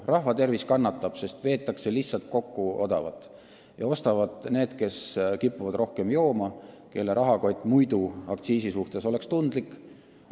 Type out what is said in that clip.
Rahva tervis kannatab, sest veetakse kokku odavamat joogipoolist ja ostavad need, kes kipuvad rohkem jooma ja kelle rahakott on aktsiisi suhtes tundlik.